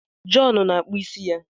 John na-akpụ isi ya.